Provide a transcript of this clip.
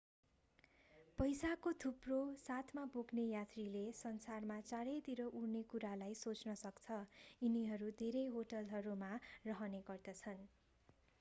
पैसाको थुप्रो साथमा बोक्ने यात्रीले संसारमा चारैतिर उड्ने कुरालाई सोच्न सक्छ यिनीहरू धेरै होटलहरूमा रहने गर्दछन्